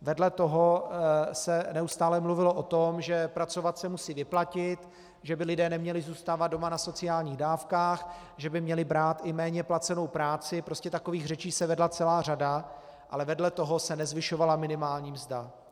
Vedle toho se neustále mluvilo o tom, že pracovat se musí vyplatit, že by lidé neměli zůstávat doma na sociálních dávkách, že by měli brát i méně placenou práci, prostě takových řečí se vedla celá řada, ale vedle toho se nezvyšovala minimální mzda.